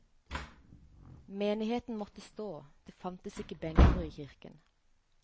Menigheten måtte stå, det fantes ikke benker i kirken.